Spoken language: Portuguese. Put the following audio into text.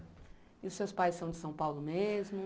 E os seus pais são de São Paulo mesmo?